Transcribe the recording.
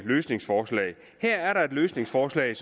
løsningsforslag her er der et løsningsforslag